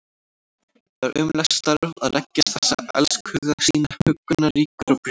Það er ömurlegt starf að leggja þessa elskhuga sína huggunarríkur á brjóst.